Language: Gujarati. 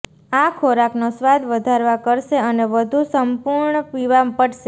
આ ખોરાકનો સ્વાદ વધારવા કરશે અને વધુ સંપૂર્ણ પીવા પડશે